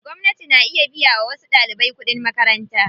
Gwamnati na iya biya wa wasu ɗaliban kuɗin makaranta.